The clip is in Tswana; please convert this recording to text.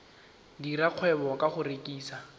dira kgwebo ka go rekisa